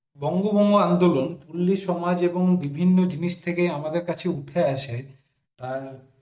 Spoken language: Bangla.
বঙ্গভঙ্গ আন্দোলন পল্লী সমাজ এবং বিভিন্ন জিনিস থেকে আমাদের কাছে উঠে আসে তার